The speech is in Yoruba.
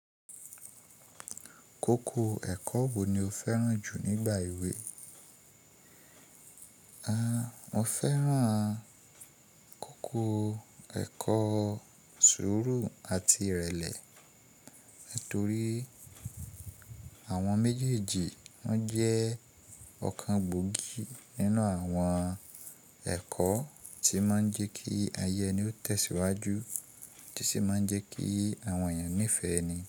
Koko ẹkọ wo ni o fẹran ju nigba ewe? Ah, mo fẹran koko ẹkọ sụuru ati irẹlẹ nitori àwọn mejeeji won jẹ ọkan gbogi ninu àwọn ẹkọ ti ma n jẹ ki ayẹ eni o tẹsiwaju ti si ma n jẹ ki àwọn ènìyàn nifẹ eni.